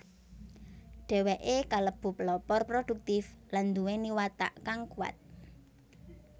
Dheweke kalebu pelopor produktif lan nduweni watak kang kuwat